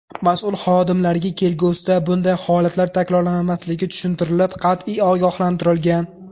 Mas’ul xodimlarga kelgusida bunday holatlar takrorlanmasligi tushuntirilib, qat’iy ogohlantirilgan.